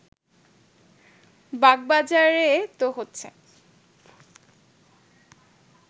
বাগবাজারে তো হচ্ছে